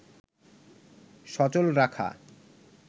সচল রাখা